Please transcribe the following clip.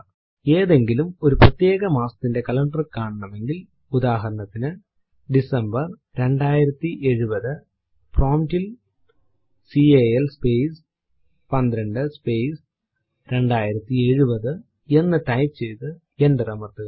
ഏതെങ്കിലും ഒരു പ്രത്യേക മാസത്തിന്റെ കലണ്ടർ കാണണമെങ്കിൽ ഉദാഹരണത്തിനു ഡിസംബർ 2070 പ്രോംപ്റ്റ് ൽ കാൽ സ്പേസ് 12 സ്പേസ് 2070 എന്ന് ടൈപ്പ് ചെയ്തു എന്റർ അമർത്തുക